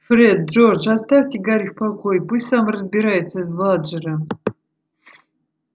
фред джордж оставьте гарри в покое пусть сам разбирается с бладжером